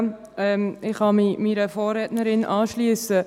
Ich kann mich meiner Vorrednerin anschliessen.